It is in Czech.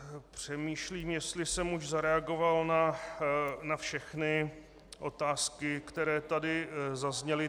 Přemýšlím, jestli jsem už zareagoval na všechny otázky, které tady zazněly.